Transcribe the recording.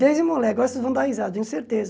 Desde moleque, vocês vão dar risada, tenho certeza.